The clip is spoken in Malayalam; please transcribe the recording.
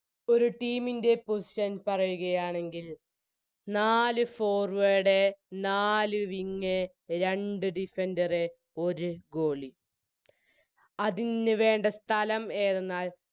ഒരു Team ൻറെ Position പറയുകയാണെങ്കിൽ നാല് Forward നാല് Wing രണ്ട് Defender ഒര് Goalie അതിനുവേണ്ട സ്ഥലം ഏതെന്നാൽ